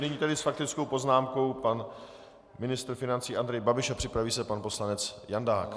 Nyní tedy s faktickou poznámkou pan ministr financí Andrej Babiš a připraví se pan poslanec Jandák.